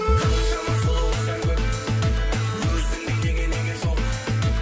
қаншама сұлу қыздар көп өзіңдей неге неге жоқ